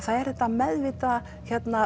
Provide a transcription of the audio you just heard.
það er þetta meðvitaða